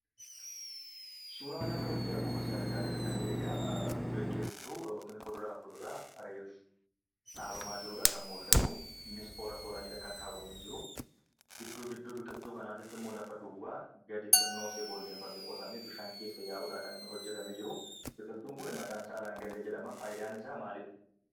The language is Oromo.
Suuraa kanarratti akkuma isiin argaa jirtan, egaa biqiltu yookiin muduraa fi kuduraa reefuu dhabamaa jirudha kan mul'atu. innis toora, tooraanidha kan kaawwamee jiru. gidduu, gidduu biqiltuu kanaatittimmo lafa duwwaa gadi xiqqooshee boolleeffame, qotame bishaan keessa yaa'udha kan hojjetame jiru. Biqiltuun kunii maqaansaa langallee jedhama. faayidaan isa maaliidha?